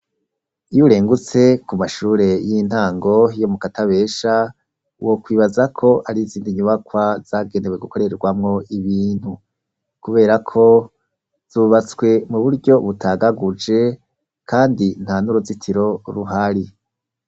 Iy'urengutse kumashure y'intango yo mukatabesha wokwibazako ari izindi nyubakwa zagenewe gukoregwamwo ibintu ,kuberako zubatse muburyo butagaguje kandi ntanuruzitiro ruhari.